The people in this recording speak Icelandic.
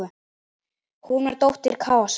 Hún var dóttir Kaosar.